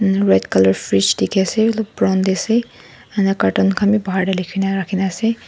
red colour frige dikhi ase olop brown te ase ena carton khan bi bahar te rakhi ne ase.